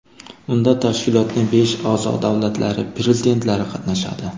Unda tashkilotning besh a’zo-davlatlari prezidentlari qatnashadi.